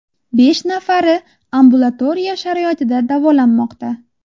Besh nafari ambulatoriya sharoitida davolanmoqda.